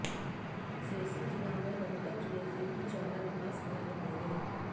सिरसा जिला में रोहतक जिले से भी ज्यादा विकास कार्य होंगे